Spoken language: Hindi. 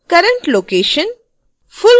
current location